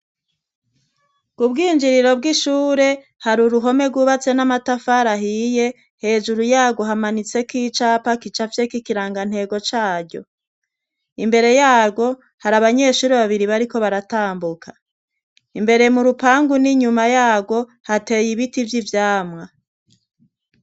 Ku bwinjiriro bw'ishure hari uruhome rwubatse n'amatafarahiye hejuru yago hamanitseko icapa kicavyekikirangantego caryo imbere yaro hari abanyeshuri babiri bariko baratambuka imbere mu rupangu n'inyuma yaro hateye ibiti vyo ivyamwa.